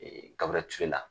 Ee Gaburɛli Ture la.